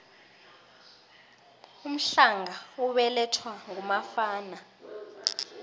umhlanga ubelathwa ngumafana